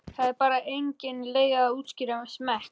Það er bara engin leið að útskýra smekk.